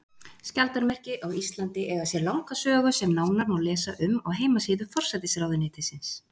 Skjaldarmerki á Íslandi eiga sér langa sögu sem nánar má lesa um á heimasíðu forsætisráðuneytisins.